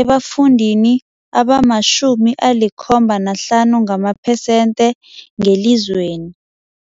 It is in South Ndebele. ebafundini abama-75 ngamaphesenthe ngelizweni.